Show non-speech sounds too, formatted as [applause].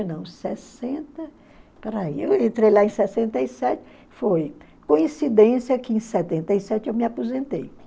não, sessenta... [unintelligible] Eu entrei lá em sessenta e sete, foi coincidência que em setenta e sete eu me aposentei.